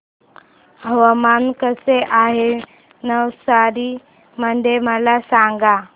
हवामान कसे आहे नवसारी मध्ये मला सांगा